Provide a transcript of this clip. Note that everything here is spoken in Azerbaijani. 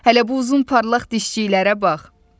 Hələ bu uzun parlaq dişçiklərə bax!